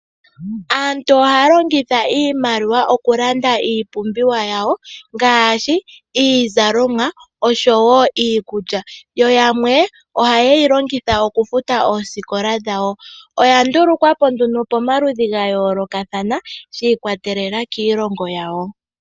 Aantu ohaya longitha iimaliwa okulanda iipumbiwa yawo ngaashi iizalomwa oshowo iikulya. Yo yamwe ohayeyi longitha omufuta oosikola dhawo , oya ndulukwapo nduno pomaludhi ga yoolokathana shi ikwatelela kiilongo yawo.